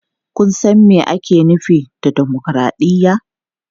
Kun san me ake nufi da dimokuraɗiyya?